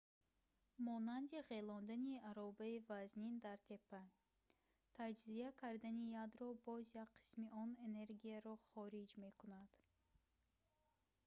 монанди ғелондани аробаи вазнин дар теппа. таҷзия кардани ядро ​​боз як қисми он энергияро хориҷ мекунад